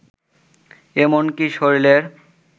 এমনকী শরীরের